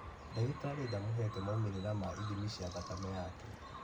Ndagĩtarĩ ndamũhete maũmĩrĩra ma ithimi cia thakame yake